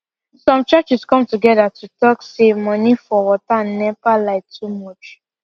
some churches come to gether to talk say money for water and nepa light too much